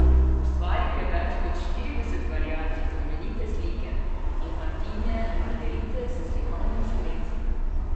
Ustvaril je več kot štirideset variacij znamenite slike infantinje Margerite s slikovitim spremstvom.